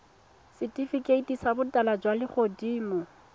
setifikeiti sa botala jwa legodimo